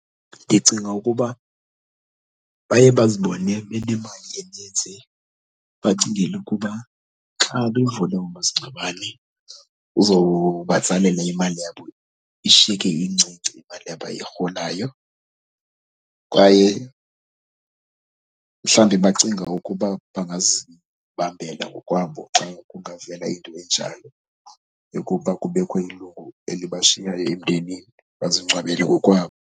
Ndicinga ukuba baye bazibone imali eninzi bacingela ukuba xa bevula umasingcwabane uzobatsalela imali yabo, ishiyeke incinci imali abayirholayo. Kwaye mhlawumbi bacinga ukuba bangazibambela ngokwabo xa kungavela into enjalo yokuba kubekho ilungu elibashiyayo emdenini, bazingcwabele ngokwabo.